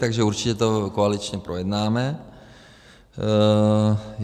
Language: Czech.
Takže určitě to koaličně projednáme.